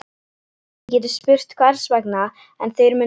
Þið getið spurt hvers vegna, en þeir munu svara